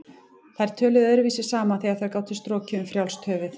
Þær töluðu öðruvísi saman þegar þær gátu strokið um frjálst höfuð.